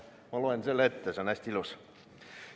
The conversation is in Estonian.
Ma loen selle ette, see on hästi ilus.